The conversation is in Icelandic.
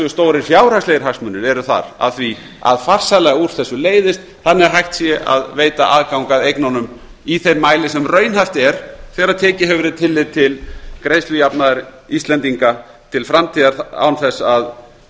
stórir fjárhagslegir hagsmunir eru þar að farsællega úr þessu leysist þannig að hægt sé að veita aðgang að eignunum í þeim mæli sem raunhæft er þegar tekið hefur verið tillit til greiðslujafnaðar íslendinga til framtíðar án þess að